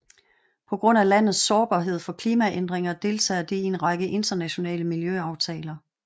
På grund af landets sårbarhed for klimaændringer deltager det i en række internationale miljøaftaler